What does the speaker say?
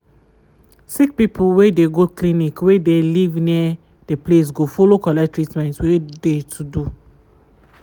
sick people wey dey go clinic wey dey live near the place go follow collect treatment wey dey to do